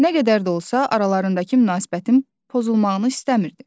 Nə qədər də olsa, aralarındakı münasibətin pozulmağını istəmirdi.